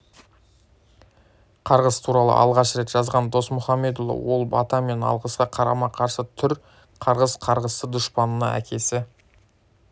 қарғыс туралы алғаш рет жазған досмұхамедұлы ол бата мен алғысқа қарама-қарсы түр қарғыс қарғысты дұшпанына әкесі